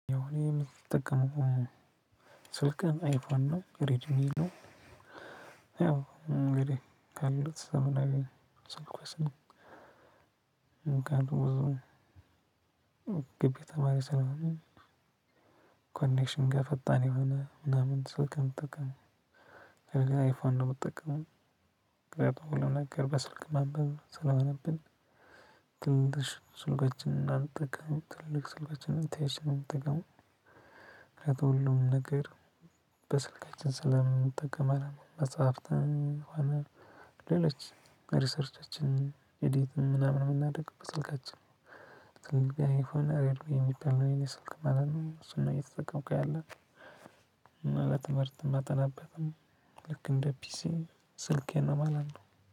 ያው እኔ የምጠቀመው ስልክህን አይፎን ነው ሬድሚን ነው ያው እንግዲህ ካለው ዘመናዊ ስልኮቺ ነው። ግቢ ተማሪ ስለሆንን ኮኔክሽን ጋር ፈጣን የሆነ ምናምን ስልክ ምጠቀመው። እኔ ግን አይፋን ነው የምጠቀምውምክንያቱም ሁሉም ነገር በስልክ ማንበብ ስለሆነብን ትልቅ ስልኮችን እንዳንጠቀም ትልቅ ስልኮችን እንተያይች ነው የምጠቀም። ነገር በስልካችን ስለምንጠቀም አላመንኩትም መጽሐፍትን ሆነ ሌሎች ሪሰርቻችን እዲት ምናምን የምናደርገው በስልካችን ነው። ትልልቅ አይፎን ከምባለውነው የኔ ስልክ ማለት ነው እሱን ነው እየተተከምቁት ያለሁት እና ለትምርት የመተናበትም ልክ እንደፒሲ ስልኬን ነው ማለት ነው።